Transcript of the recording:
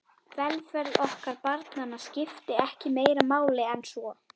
Velferð okkar barnanna skipti ekki meira máli en svo.